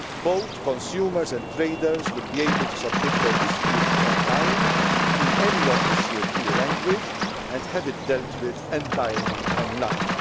Both consumers and traders will be able to submit their dispute online, in any official EU language, and have it dealt with entirely